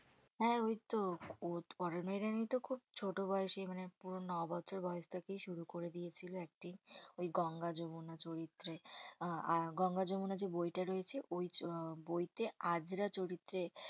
হ্যাঁ ওই তো আরোনা ওইরানী তো খুব ছোট বয়েসেই মানে পুরো ন বছর বয়েস থেকেই শুরু করে দিয়েছিল acting ওই গঙ্গা যমুনা চরিত্রে আহ গঙ্গা যমুনা যে বই টা রয়েছে ওই হম বইতে আজরা চরিত্রে